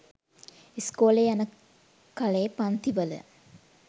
ඉස්කෝලේ යන කලේ පන්ති වල